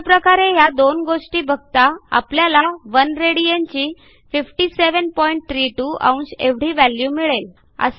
अशा प्रकारे ह्या दोन गोष्टी बघता आपल्याला 1 राड ची 5732 अंश एवढी व्हॅल्यू मिळेल